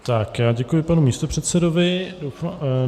Tak, já děkuji panu místopředsedovi.